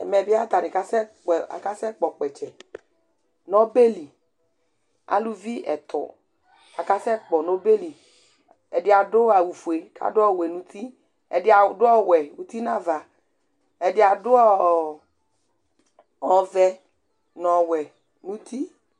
ɛmɛ bi ata ni kasɛ kpɛ, akaaɛ kpɔ kpɛtsɛ, n'ɔbɛli aluvi ɛtu, akasɛ kpɔ n'ɔbɛli ɛdi adu awu fue k'adu ɔwɛ n'uti, ɛdi adu ɔwɛ uti n'ava ɛdi adu ɔɔɔɔ ɔvɛ n'ɔwɛ n'uti